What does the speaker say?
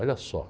Olha só.